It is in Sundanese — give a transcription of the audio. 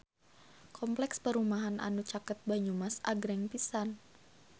Kompleks perumahan anu caket Banyumas agreng pisan